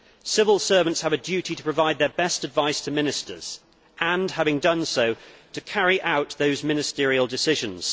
Civil servants have a duty to provide their best advice to ministers and, having done so, to carry out those ministerial decisions.